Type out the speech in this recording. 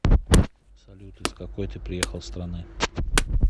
салют из какой ты приехал страны